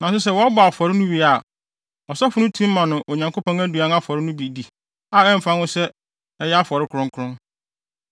Nanso sɛ wɔbɔ afɔre no wie a, ɔsɔfo no tumi ma no Onyankopɔn afɔre no aduan no bi di a ɛmfa ho sɛ ɛyɛ afɔre kronkron.